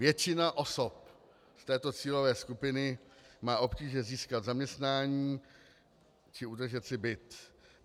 Většina osob z této cílové skupiny má obtíže získat zaměstnání či udržet si byt.